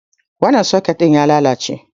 Wancan soket ɗin ya lalace.